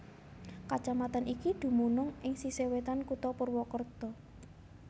Kacamatan iki dumunung ing sisih wétan kutha Purwakerta